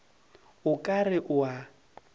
o ka re o a